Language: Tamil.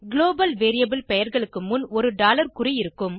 குளோபல் வேரியபிள் பெயர்களுக்கு முன் ஒரு டாலர் குறி இருக்கும்